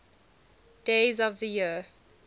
days of the year